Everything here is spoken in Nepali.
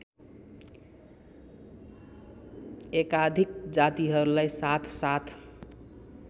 एकाधिक जातिहरूलाई साथसाथ